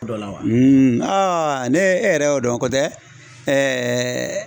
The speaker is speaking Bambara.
ne e yɛrɛ y'o dɔn kotɛ